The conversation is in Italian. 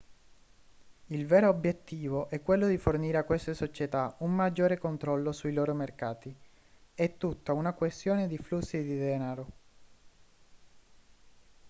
il vero obiettivo è quello di fornire a queste società un maggiore controllo sui loro mercati è tutta una questione di flussi di denaro